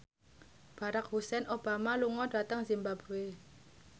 Barack Hussein Obama lunga dhateng zimbabwe